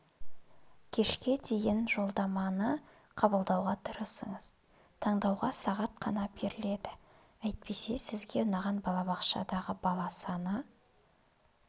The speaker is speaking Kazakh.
кешкі дейін жолдаманы қабылдауға тырысыңыз таңдауға сағат қана беріледі әйтпесе сізге ұнаған балабақшада бала саны